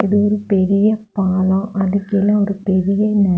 இது ஒரு பெரிய பாலொ அதுக்கு கீழே ஒரு பெரிய.